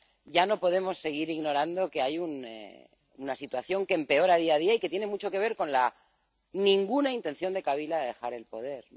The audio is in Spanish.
Ya no podemos seguir ignorando que hay una situación que empeora día a día y que tiene mucho que ver con la nula intención de Kabila de dejar el poder.